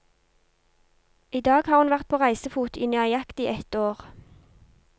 I dag har hun vært på reisefot i nøyaktig et år.